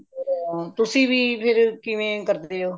ਹਾਂ ਤੁਸੀਂ ਵੀ ਫ਼ਿਰ ਕਿਵੇਂ ਕਰਦੇ ਹੋ